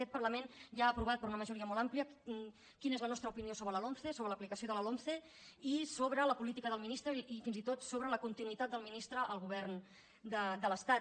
aquest parlament ja ha aprovat per una majoria molt amplia quina és la nostra opinió sobre la lomce sobre l’aplicació de la lomce i sobre la política del ministre i fins i tot sobre la continuïtat del ministre al govern de l’estat